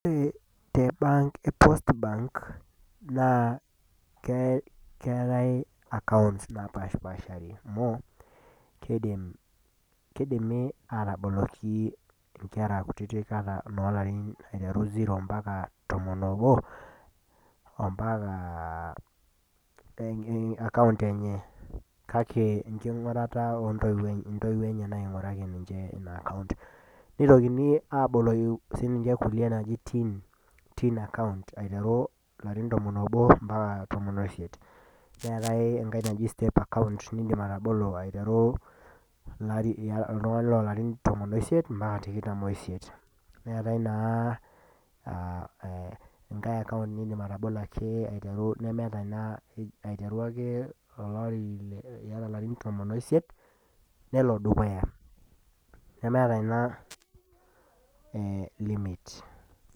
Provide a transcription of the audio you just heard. Ore te bank repost bank naa keetae akaonts naapashpashari amu keidimi aatabaolki mpaka nkera ilarin kutitik mpaka noolarin ziro mpaka tomon oobo akaont enye kake ngingurat keeku ntoiwuo enye nainguaraki nena akount. nitokini aboloki nkulie naaji tin akaunt aiteru larin tomon oobo mpaka tomon oisiet ,neetae enkae naji step akaont aiteru larin tomonko oisiet mpakatikitam oisiet, neetae naa nindim atabolo iyata larin tomonko oisiet nelo dukuya ,nemeeta ina limit.